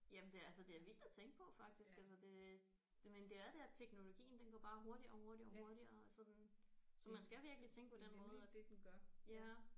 Jamen det er altså det er vildt at tænke på faktisk altså det det men det er det at teknologien går bare hurtigere og hurtigere og hurtigere sådan så man skal virkelig tænke på den måde at ja